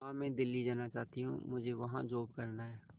मां मैं दिल्ली जाना चाहते हूँ मुझे वहां जॉब करना है